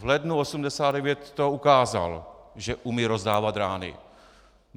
V lednu 1989 to ukázal, že umí rozdávat rány.